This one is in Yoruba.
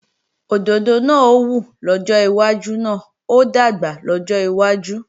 Òdòdó náà ó wù lọ́jọ́ iwájú náà ó dàgbà lọ́jọ́ iwájú